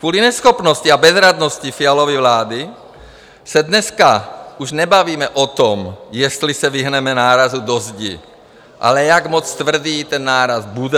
Kvůli neschopnosti a bezradnosti Fialovy vlády se dneska už nebavíme o tom, jestli se vyhneme nárazu do zdi, ale jak moc tvrdý ten náraz bude.